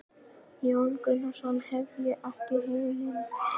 Jón Gunnarsson: Hef ég ekki heimild?